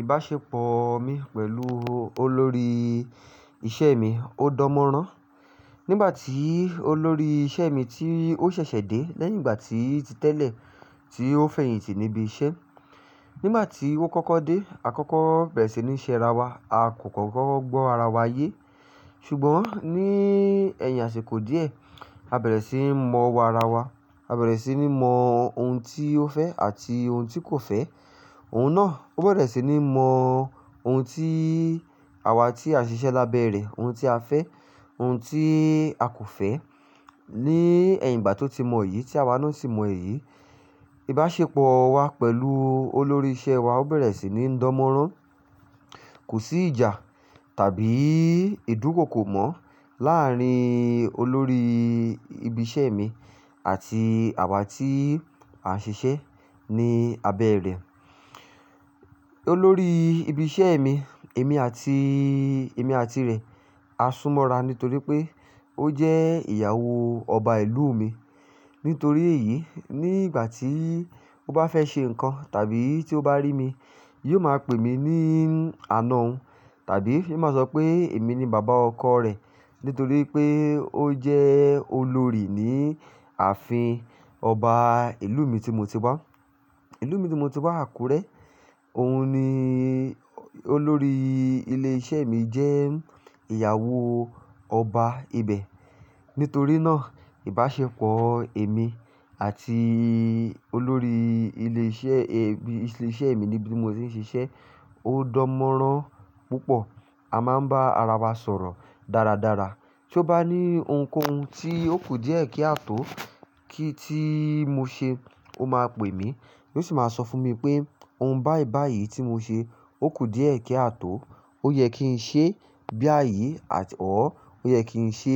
Ìbáṣepọ̀ mi pẹ̀lú olórí iṣẹ́ mi ó dọmọrán. Nígbà tí olórí iṣẹ́ mi tí ó ṣẹ̀ṣẹ̀ dé, lẹ́yìn ìgbà tí ti tẹ́lẹ̀ tí ó fẹ̀yìntì níbi iṣẹ́. Nígbà tí ó kọ́kọ́ dé, àkọ́kọ́ bẹ̀rẹ̀ sí ní ṣe ara wa, a kò kọ́kọ́ gbọ́ ara wa ye. Ṣùgbọ́n ní ẹ̀yìn àsìkò díẹ̀, a bẹ̀rẹ̀ síi mọ̀ owo ara wa. A bẹ̀rẹ̀ síí ní mọ ohun tí ó fẹ́ àti ohun tí kò fẹ́. Òun náà ó bẹ̀rẹ̀ sí ní mọ ohun tí àwa tí a ń ṣiṣẹ́ lábẹ́ rẹ̀, ohun tí a fẹ́, ohun tí a kò fẹ́. Ni ẹ̀yìn ìgbà tó ti mọ èyí tí àwa náà sì mọ èyí, ìbáṣepọ̀ wa pẹ̀lú olórí iṣẹ́ wa ó bẹ̀rẹ̀ sí ní dan morán. Kò sí ìjà tàbí ìdúkokò mọ́ láàárín olórí ibi iṣẹ́ mi àti àwa tí a ń ṣiṣẹ́ ní abẹ́ rẹ̀. Olórí ibi iṣẹ́ mi, èmi àti, èmi àti rẹ̀ á súnmọ́ra nítorí pé ó jẹ́ ìyàwó ọba ìlú mi. Nítorí èyí, ní ìgbà tí ó bá fẹ́ ṣe nǹkan tàbí tí ó bá rí mi, yóò máa pè mí ní àna òun, tàbí yóò máa sọ pé èmi ni bàbá ọkọ rẹ̀. Nítorí pé ó jẹ́ olórí ní ààfin ọba ìlú mi tí mo ti wá. Ìlú mi tí mo ti wá, Àkúrẹ́. Òun ni olórí ilé iṣẹ́ mi jẹ́ ìyàwó ọba ibẹ̀. Nítorí náà ìbáṣepọ̀ èmi àti olórí ilé iṣẹ́, e, ibi iṣẹ́ mi níbi tí mo ti ń ṣiṣẹ́ ó dọmọrán púpọ̀. A máa ń bá ara wa sọ̀rọ̀ dáradára. Tí ó bá ní ohunkóhun tí ó kù díẹ̀ kí a tó, kí tí mo ṣe, ó máa pè mí. Yóò sì máa sọ fún mi pé ohun báì báì yìí tí mo ṣe ó kù díẹ̀ kí a tó. Ó yẹ kí n ṣe bí àyí àti ọ́, ó yẹ kí n ṣe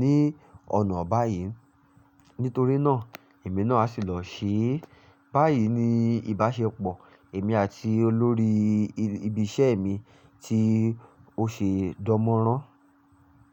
ní ọ̀nà báyìí. Nítorí náà èmi náà á sì lọ ṣe. Báyìí ni ìbáṣepọ̀ èmi àti olórí ibi iṣẹ́ mi tí ó ṣe dọmọrán.